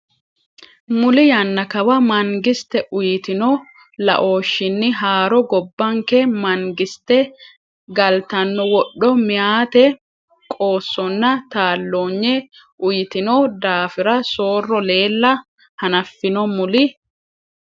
Muli yannaa kawa, mangiste uyitino laooshshinni haaro gobbanke man- giste galtanno wodho meyaate qoossonna taalloonye uyitino daafira soorro leella hanaffino Muli.